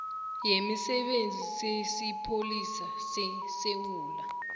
yemisebenzi yesipholisa sesewula